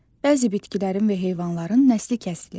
Bəzi bitkilərin və heyvanların nəsli kəsilir.